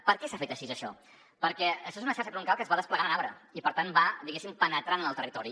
per què s’ha fet així això perquè això és una xarxa troncal que es va desplegant en arbre i per tant va diguéssim penetrant en el territori